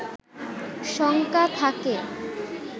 শঙ্কা থাকে